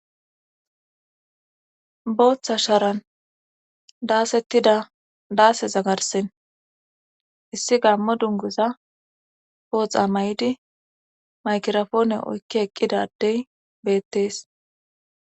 Booththa sharan daasettida daase zagarsen issi gaammo dunguza pooxa may7di maykirofoone oykki eqqidadey beettees